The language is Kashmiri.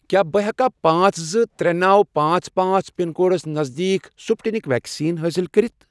کیٛاہ بہٕ ہیٚکیا پانژھ، زٕ، ترے، نوَ، پانژھ، پانژھ، پِن کوڈس نزدیٖک سٕپُٹنِک ویکسیٖن حٲصِل کٔرِتھ؟